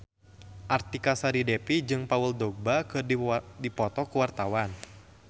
Artika Sari Devi jeung Paul Dogba keur dipoto ku wartawan